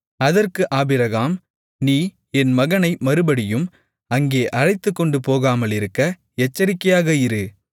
அதற்கு ஆபிரகாம் நீ என் மகனை மறுபடியும் அங்கே அழைத்துக்கொண்டு போகாமலிருக்க எச்சரிக்கையாக இரு